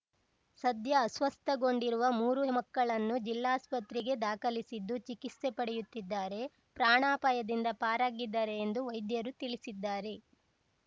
ಸದ್ಯ ಅಸ್ವಸ್ಥಗೊಂಡಿರುವ ಮೂರೂ ಮಕ್ಕಳನ್ನು ಜಿಲ್ಲಾಸ್ಪತ್ರೆಗೆ ದಾಖಲಿಸಿದ್ದು ಚಿಕಿತ್ಸೆ ಪಡೆಯುತ್ತಿದ್ದಾರೆ ಪ್ರಾಣಾಪಾಯದಿಂದ ಪಾರಾಗಿದ್ದಾರೆ ಎಂದು ವೈದ್ಯರು ತಿಳಿಸಿದ್ದಾರೆ